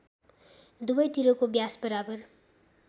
दुवैतिरको व्यास बराबर